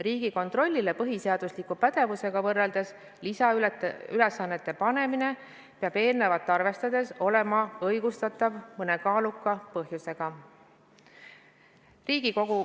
Riigikontrollile põhiseadusliku pädevusega võrreldes lisaülesannete panemine peab eelnevat arvestades olema õigustatav mõne kaaluka põhjusega.